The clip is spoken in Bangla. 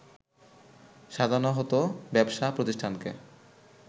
সাজানো হতো ব্যবসা প্রতিষ্ঠানকে